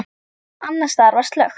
Annars staðar var slökkt.